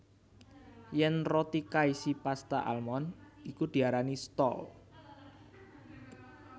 Yèn roti kaisi pasta almond iku diarani stol